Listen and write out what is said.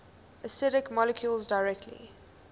acidic molecules directly